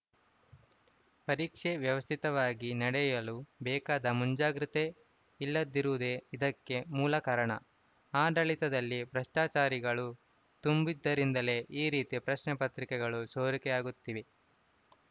ಪರೀಕ್ಷೆ ವ್ಯವಸ್ಥಿತವಾಗಿ ನಡೆಯಲು ಬೇಕಾದ ಮುಂಜಾಗೃತೆ ಇಲ್ಲದಿರುವುದೇ ಇದಕ್ಕೆ ಮೂಲ ಕಾರಣ ಆಡಳಿತದಲ್ಲಿ ಭ್ರಷ್ಟಾಚಾರಿಗಳು ತುಂಬಿದ್ದರಿಂದಲೇ ಈ ರೀತಿ ಪ್ರಶ್ನೆ ಪತ್ರಿಕೆಗಳು ಸೋರಿಕೆಯಾಗುತ್ತಿದೆ